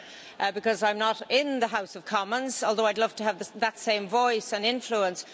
because I'm not in the House of Commons although I would love to have that same voice and influence.